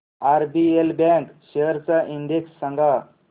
RBL bank shares चा index सांगा